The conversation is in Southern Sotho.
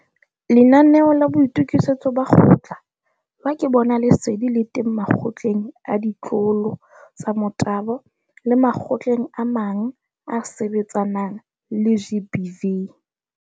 Lenanaeo la Boitokisetso ba kgotla, la ke bona lesedi le teng makgotleng a ditlolo tsa Motabo le makgotleng a mang a a sebetsanang le GBV.